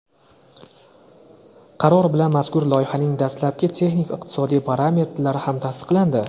Qaror bilan mazkur loyihaning dastlabki texnik-iqtisodiy parametrlari ham tasdiqlandi.